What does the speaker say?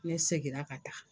U ye segira ka taa.